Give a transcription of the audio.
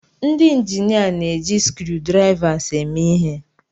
Ndị injinia na-eji screwdrivers eme ihe.